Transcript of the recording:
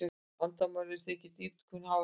Vandamálið er því ekki dýpkun hafnarinnar